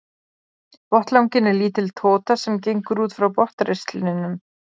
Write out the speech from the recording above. Botnlanginn er lítil tota sem gengur út frá botnristlinum.